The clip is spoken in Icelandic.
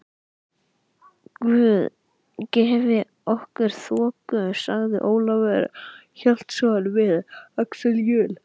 Guð gefi okkur þoku, sagði Ólafur Hjaltason við Axel Jul.